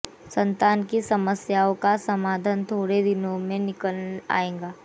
संतान की समस्याओं का समाधान थोडे दिनों में निकल आएगा